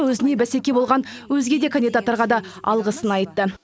өзіне бісеке болған өзге де кандидаттарға алғысын айтты